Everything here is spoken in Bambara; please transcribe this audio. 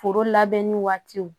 Foro labɛnni waatiw